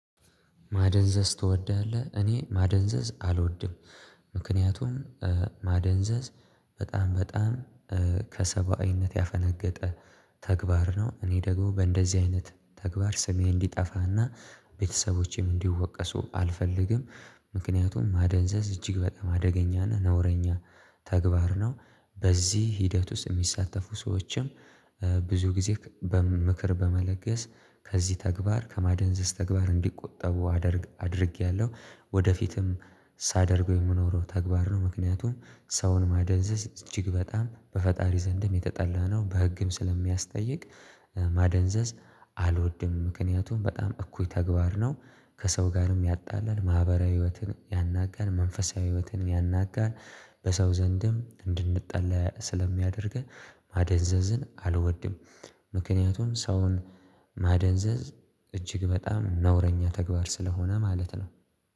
ማደንዘዝ ትወዳለህ እኔ ማደንዘዝ አልወድም ምክንያቱም ማደንዘዝ በጣም በጣም ከሰባዊነት ያፈነገጠ ተግባር ነው። እኔ ደግሞ በእንደዚህ አይነት ተግባር ስሜ እንዲጠፋና ቤተሰቦቼም እንዲወቀሱ አልፈልግም። ምክንያቱም ማደንዘዝ እጅግ በጣም አደገኛና ነውረኛ ተግባር ነው። በዚህ ሂደት ውስጥ የሚሳተፉ ሰዎችም ብዙ ጊዜ በምክር በመለገስ ከዚህ ተግባር ከማደንዘዝ ተግባር እንዲቆጠቡ አድርጌያለሁ ወደፊትም ሳደርገው የምኖረው ተግባር ነው። ምክንያቱም ሰውን ማደንዘዝ እጅግ በጣም በፈጣሪ ዘንድም የተጠላ ነው በህግም ስለሚያስጠይቅ። ማደንዘዝ አልወድም ምክንያቱም በጣም እኩይ ተግባር ነው። ከሰው ጋርም ያጣላል ማህበራዊ ህይወትን ያናጋል መንፈሳዊ ህይወትን ያናጋን በሰው ዘንድም እንድንጠላ ስለሚያደርገን ማደንዘዝን አልወድም። ምክንያቱም ሰውን ማደንዘዝ እጅግ በጣም ነውረኛ ተግባር ስለሆነ ማለት ነው